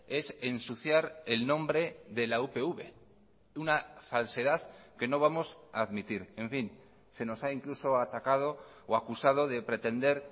es ensuciar el nombre de la upv una falsedad que no vamos a admitir en fin se nos ha incluso atacado o acusado de pretender